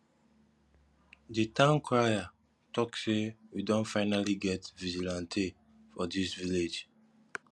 the town crier talk say we don finally get vigilante for dis village